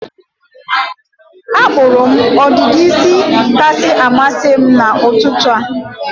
Akpụrụ m ọdịdị isi kasị amasị m n'ụtụtụ a.